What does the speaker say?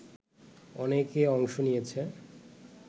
অনেকে অংশ নিয়েছে